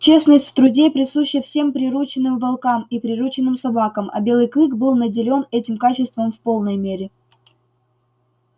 честность в труде присуща всем приручённым волкам и приручённым собакам а белый клык был наделён этим качеством в полной мере